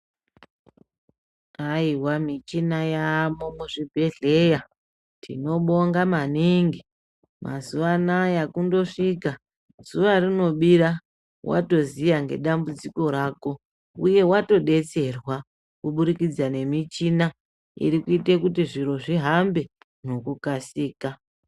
Haiwa michina yamuzvibhedhlera tinobonga maningi mazuva anawa zuwa rinobira wandozuva nedambudziko rako uye watodetserwa kuburikidza nemuchina iri kuita kuti zviro zvihambe ngekukasika.